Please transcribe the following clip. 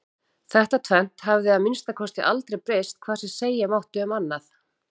Þetta tvennt hafði að minnsta kosti aldrei breyst hvað sem segja mátti um annað.